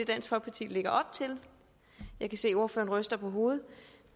dansk folkeparti lægger op til jeg kan se ordføreren ryster på hovedet